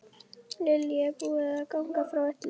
Lillý, er búið að ganga frá öllu?